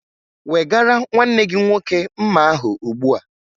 Wegara nwanne gị nwoke mma ahụ ugbu a!